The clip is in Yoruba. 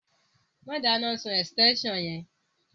Má dáná sun ẹ̀sítẹ́nsàn yẹn